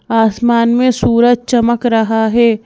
आसमान में सूरज चमक रहा है।